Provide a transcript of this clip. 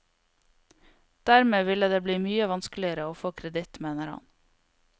Dermed ville det bli mye vanskeligere å få kreditt, mener han.